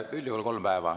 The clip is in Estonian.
Üldjuhul kolm päeva.